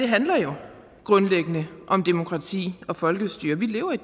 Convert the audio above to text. handler jo grundlæggende om demokrati og folkestyre vi lever i